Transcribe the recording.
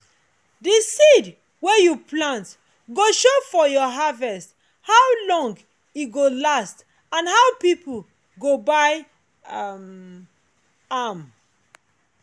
the seed wey you plant go show for your harvest how long e go last and how people go buy um am.